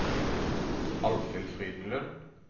Alfhild Frydenlund